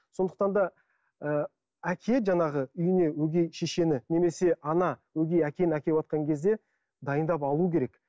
сондықтан да ыыы әке жаңағы үйіне өгей шешені немесе ана өгей әкені әкеватқан кезде дайындап алуы керек